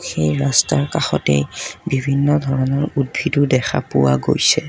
সেই ৰাস্তাৰ কাষতে বিভিন্ন ধৰণৰ উদ্ভিদো দেখা পোৱা গৈছে।